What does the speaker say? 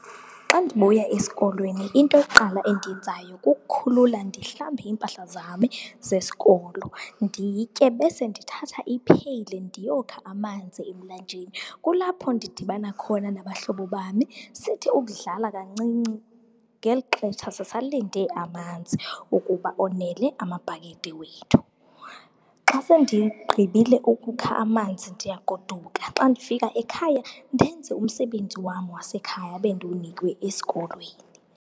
Xa ndibuya esikolweni, into yokuqala endiyenzayo kukukhulula ndihlambe iimpahla zam zesikolo, nditye bese ndithatha ipheyile ndiyokha amanzi emlanjeni. Kulapho ndidibana khona nabahlobo bam, sithi ukudlala kancinci ngeli xesha sisalinde amanzi wokuba onele amabhakede wethu. Xa sendigqibile ukukha amanzi ndiyagoduka. Xa ndifika ekhaya ndenze umsebenzi wam wasekhaya ebendiwunikiwe esikolweni.